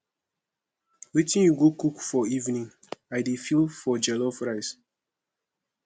wetin you go cook for evening i dey feel for jollof rice